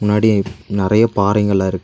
முன்னாடி நெறைய பாறைங்க எல்லா இருக்கு.